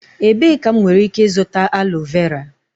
Ebee ka m nwere ike ịzụta aloe vera?